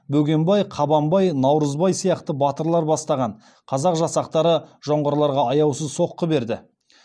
бөгенбай қабанбай наурызбай сияқты батырлар бастапан қазақ жасақтары жоңғарларға аяусыз соққы берді